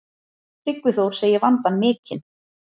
Tryggvi Þór segir vandann mikinn.